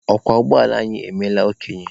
Ọkwọ ụgbọala anyị emeela okenye